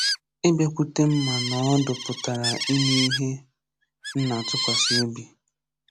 Ịbịakwute m ma nọọ ọdụ pụtara ime ihe mna-atụkwasị obi.